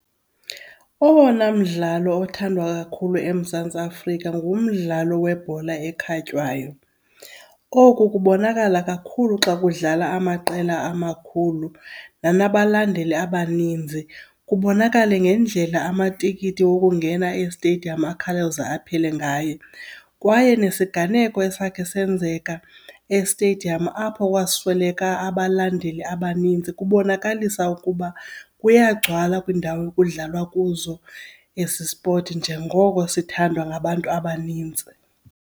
Owona mdlalo othandwa kakhulu eMzantsi Afrika ngumdlalo webhola ekhatywayo. Oku kubonakala kakhulu xa kudlala amaqela amakhulu nanabalandeli abaninzi, kubonakale ngendlela amatikiti wokungena ezitediyamu akhawuleze aphele ngayo. Kwaye nesiganeko esakhe senzeka estediyamu apho kwasweleka abalandeli abaninzi kubonakalisa ukuba kuyagcwala kwiindawo ekudlalwa kuzo esi spoti njengoko sithandwa ngabantu abanintsi.